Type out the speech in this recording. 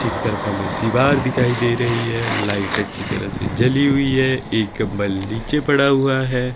एक तरफा में दीवार दिखाई दे रही है लाइट अच्छी तरह से जली हुई है एक बल नीचे पड़ा हुआ है।